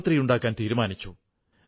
യിൽ ബാരാബംകിയിൽ ഒരു വനിതയുണ്ട്